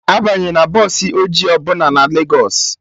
Abanyena bọsụ ọjị ọbụla na Legos